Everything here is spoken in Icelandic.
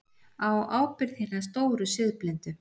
Á ábyrgð hinna stóru siðblindu.